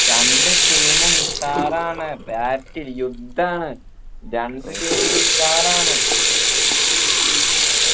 രണ്ട് team ഉം ഉഷാറാണ് battle യുദ്ധണ് രണ്ട് team ഉം ഉഷാറാണ്